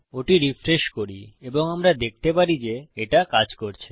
ওটি রিফ্রেশ করি এবং আমরা দেখতে পারি যে এটা কাজ করেছে